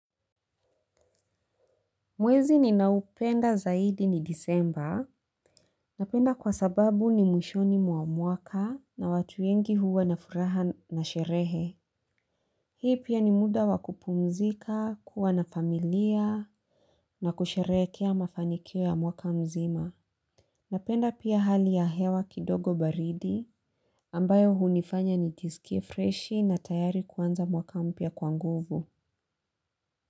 Mwezi ninaupenda zaidi ni disemba. Napenda kwa sababu ni mwishoni mwa mwaka na watu wengi huwa na furaha na sherehe. Hii pia ni muda wa kupumzika kuwa na familia na kusherekea mafanikio ya mwaka mzima. Napenda pia hali ya hewa kidogo baridi ambayo hunifanya nijisikie freshi na tayari kuanza mwaka mpya kwa nguvu.